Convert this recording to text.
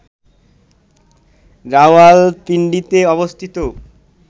রাওয়ালপিন্ডিতে অবস্থিত